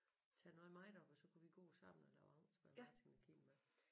Tage noget med derop og så kunne vi gå sammen og lave aftensmad Martin og Kim med